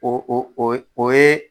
O o o ye